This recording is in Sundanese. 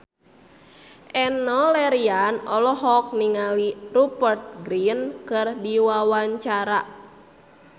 Enno Lerian olohok ningali Rupert Grin keur diwawancara